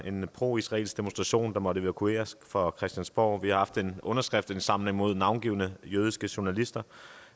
en proisraelsk demonstration måtte evakueres fra christiansborg og vi har haft en underskriftindsamling mod navngivne jødiske journalister